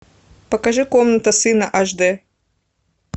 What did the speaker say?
покажи комната сына аш д